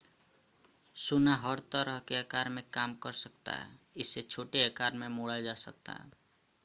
सोना हर तरह के आकार में काम कर सकता है इसे छोटे आकार में मोड़ा जा सकता है